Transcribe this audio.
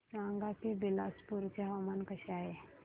सांगा की बिलासपुर चे हवामान कसे आहे